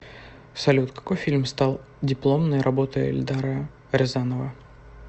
салют какой фильм стал дипломной работой эльдара рязанова